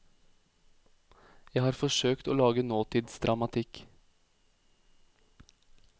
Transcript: Jeg har forsøkt å lage nåtidsdramatikk.